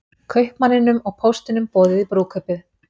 Kaupmanninum og póstinum boðið í brúðkaupið